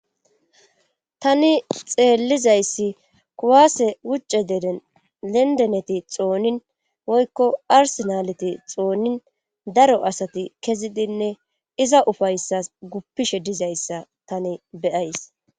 Tani xeellizayssi kuwaase wucce deden lendeneti xoonin woykko arsenaleti xoonnin daro asati kezidinne iza ufayssas guppishe dizayssa tani beyays.